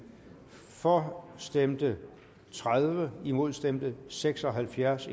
for stemte tredive imod stemte seks og halvfjerds